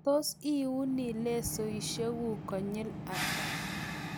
tos iuni lesoisiekuk konyil ata?